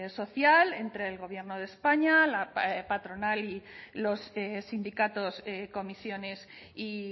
social entre el gobierno de españa la patronal y los sindicatos comisiones y